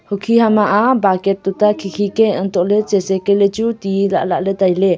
hukhi hamma tuta khi khi ka hantoh ley lah ley tai ley.